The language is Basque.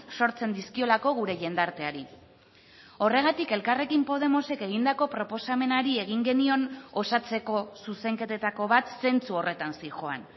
sortzen dizkiolako gure jendarteari horregatik elkarrekin podemosek egindako proposamenari egin genion osatzeko zuzenketetako bat zentsu horretan zihoan